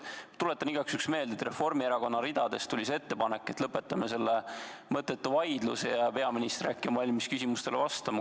Tuletan igaks juhuks meelde, et Reformierakonna ridadest tuli see ettepanek, et lõpetame selle mõttetu vaidluse ja peaminister äkki on valmis küsimustele vastama.